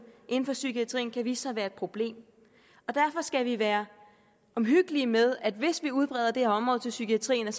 inden for psykiatrien kan vise sig at være et problem og derfor skal vi være omhyggelige med at det hvis vi udbreder det her område til psykiatrien